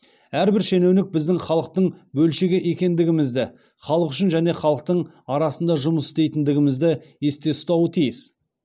әрбір шенеунік біздің халықтың бөлшегі екендігімізді халық үшін және халықтың арасында жұмыс істейтіндігімізді есте ұстауы тиіс